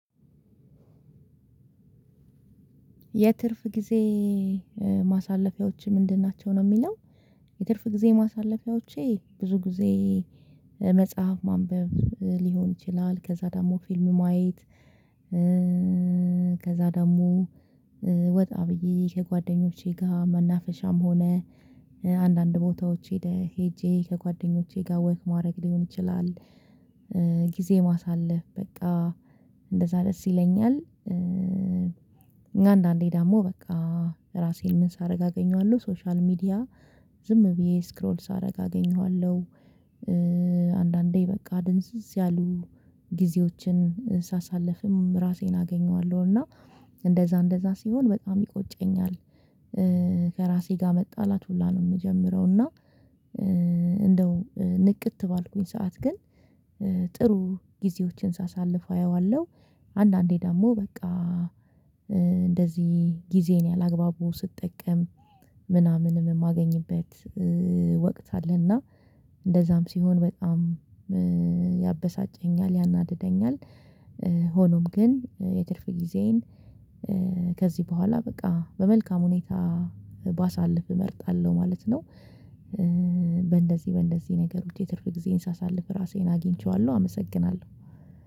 የትርፍ ጊዜ ማሳለፊያዎች ምንድን ናቸው? ነው የሚለው የትርፍ ጊዜ ማሳለፊያዎቼ ብዙ ጊዜ መጽሐፍ ማንበብ ሊሆን ይችላል ከዛ ደግሞ ፊልም ማየት። ከዛ ደግሞ ወጣ ብዬ ከጓደኞቼ ጋር መናፈሻም ሆነ አንዳንድ ቦታዎቼ ሄደህ ሄጄ ከጓደኞቼ ጋር ወክ ማድረግ ሊሆን ይችላል። ጊዜ ማሳለፍ በቃ እንደዛ ደስ ይለኛል። አንዳንዴ ደግሞ በቃ ራሴን ምን ሳደርግ አገኘዋለሁ ሶሻል ሚዲያ ዝም ብዬ ስክሮል ሳደርግ አገኘዋለሁ። አንዳንዴ በቃ ድንዝዝ ያሉ ጊዜዎችን ሳሳልፍም ራሴን አገኘዋለሁ እና እንደዛ እንደዛ ሲሆን በጣም ይቆጨኛል። ከራሴ ጋር መጣላት ሁላ ነው የምጀምረው። እና እንደው ንቅት ባልኩኝ ሰዓት ግን ጥሩ ጊዜዎችን ሳሳልፍ አየዋለሁ። አንዳንዴ ደግሞ በቃ እንደዚህ ጊዜን ያላግባቡ ስጠቀም ምናምን የማገኝበት ወቅት አለና እንደዛም ሲሆን በጣም ያበሳጨኛል ያናድደኛል። ሆኖም ግን የትርፍ ጊዜዬን ከዚህ በኋላ በቃ በመልካም ሁኔታ ባሳልፍ እመርጣለሁ ማለት ነው። በእንደዚህ በእንደዚህ ነገሮች የትርፍ ጊዜን ሳሳልፍ ራሴን አግኝቼዋለሁ አመሰግናለሁ።